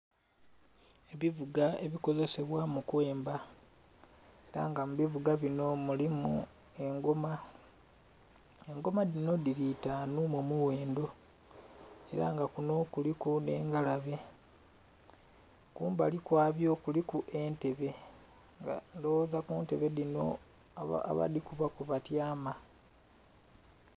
Ebivuga ebikozesebwa mu kwemba era nga mu bivuga munho mulimu engoma, engoma dhino dhili itanu mu mughendho era nga kunho kuliku nhe engalabe, kumbali kwabyo kuliku entebe nga ndhoghoza kuntebe dhino abadhikuba kwe ba tyama.